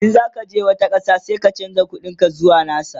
in zaka je wani ƙasa sai ka chanza ƙuɗin ka zuwa nasu